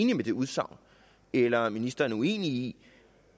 det udsagn eller om ministeren er uenig i